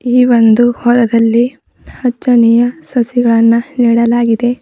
ಈ ಒಂದು ಹೊಲದಲ್ಲಿ ಅಚ್ಚನೆಯ ಸಸಿಗಳನ್ನ ನೆಡಲಾಗಿದೆ.